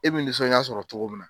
E bi nisɔn ja sɔrɔ togo min na